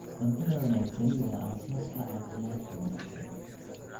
Cuntada wanaagsani waa aasaaska caafimaadka wanaagsan.